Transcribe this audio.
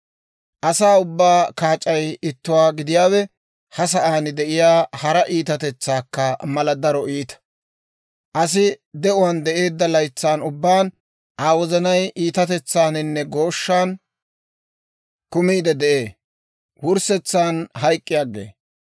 Asaa ubbaa kaac'ay ittuwaa gidiyaawe, ha sa'aan de'iyaa hara iitatetsaakka mala daro iita. Asi de'uwaan de'eedda laytsan ubbaan Aa wozanay iitatetsaaninne gooshshan kumiide de'ee; wurssetsan hayk'k'i aggee.